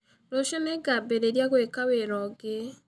Rũciũ nĩ ngambĩrĩria gwĩka wĩra ũngĩ.